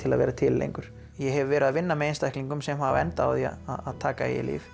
að vera til lengur ég hef verið að vinna með einstaklingum sem hafa endað á því að taka eigið líf